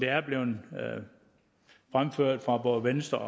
er blevet fremført fra både venstres